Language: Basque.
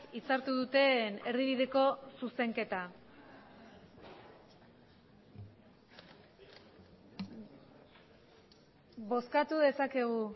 itzartu duten erdibideko zuzenketa bozkatu dezakegu